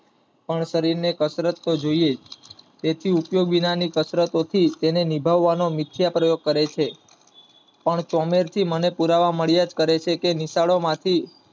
પણ શરીર ને કસરત તો જોઈએ, તેથી ઉપયોગ વિનાની કસરતો થી તેને નિભાવનો મિથ્યા પ્રયોગ કરે છે. ન ચોમેર થી મને પુરાવા મળ્યા જ કરે છે કે નિશાળો માથી